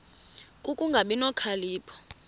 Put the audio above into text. ku kungabi nokhalipho